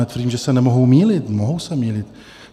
Netvrdím, že se nemohou mýlit, mohou se mýlit.